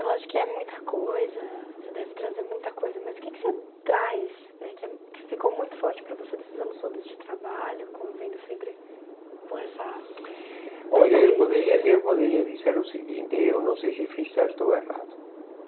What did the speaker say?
Eu acho que é muita coisa, você deve trazer muita coisa, mas o que que você traz eh que eh que ficou muito forte para você nesses anos todos de trabalho, convivendo sempre com essa... correria. Olha, eu poderia eu poderia dizer o seguinte, eu não sei se fiz certo ou errado.